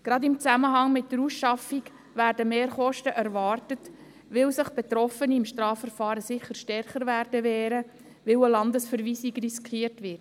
Gerade im Zusammenhang mit der Ausschaffung werden Mehrkosten erwartet, weil sich Betroffene im Strafverfahren sicher stärker wehren werden, da eine Landesverweisung riskiert wird.